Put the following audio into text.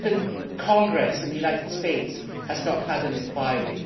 Even Congress in the United States has not had an inquiry.